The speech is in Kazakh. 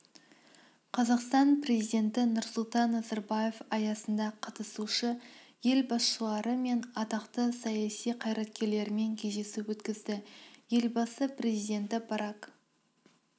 қазақстан президенті нұрсұлтан назарбаев аясында қатысушы-ел басшылары мен атақты саяси қайраткерлермен кездесу өткізді елбасы президенті барак